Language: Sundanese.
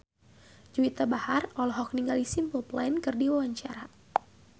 Juwita Bahar olohok ningali Simple Plan keur diwawancara